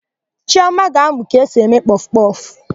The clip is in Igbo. Chiọma ga-amụ ka esi eme kpọfụkpọfụ.